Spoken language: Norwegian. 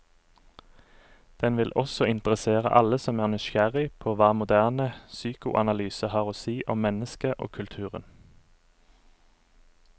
Den vil også interessere alle som er nysgjerrig på hva moderne psykoanalyse har å si om mennesket og kulturen.